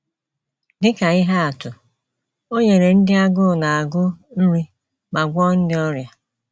Dị ka ihe atụ, o nyere ndị agụụ na - agụ nri ma gwọọ ndị ọrịa..